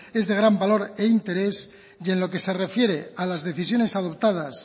es de gran valor e interés y en lo que se refiere a las decisiones adoptadas